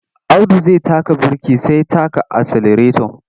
Audu zai taka birki sai taka aselareto.